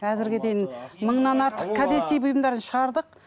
әзірге дейін мыңнан артық кәдесый бұйымдарын шығардық